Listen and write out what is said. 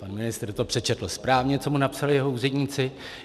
Pan ministr to přečetl správně, co mu napsali jeho úředníci.